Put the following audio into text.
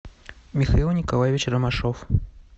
михаил николаевич ромашов